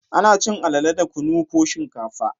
Ana cin alale da kunu ko shinkafa